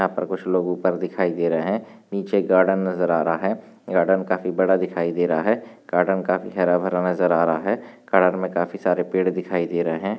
यहाँ पर कुछ लोग ऊपर दिखाई दे रहा है। नीचे गार्डन नजर आ रहा है। गार्डन काफी बड़ा दिखाई दे रहा है। गार्डन काफी हारा भरा नजर आ रहा है। गार्डन मे काफी सारे पेड़ दिखाई दे रहे है।